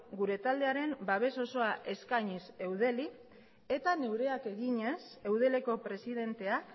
gure taldearen babes osoa eskainiz eudeli eta neureak eginez eudeleko presidentea